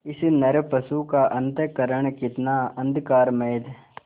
इस नरपशु का अंतःकरण कितना अंधकारमय